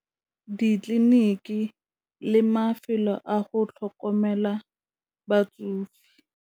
Ditleliniki le mafelo a go tlhokomela batsofe.